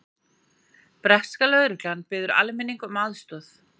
Breska lögreglan biður almenning um aðstoð